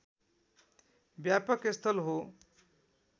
व्यापक स्थल हो